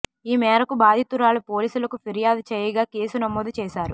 ఈ మేరకు బాధితురాలు పోలీసులకు ఫిర్యాదు చేయగా కేసు నమోదు చేశారు